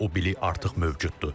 Amma o bilik artıq mövcuddur.